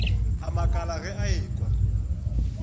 a makala ge a ekwa